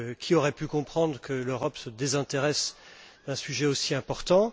Qui aurait pu comprendre que l'Europe se désintéresse d'un sujet aussi important?